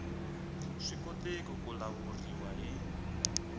swi koteki ku lawuriwa hi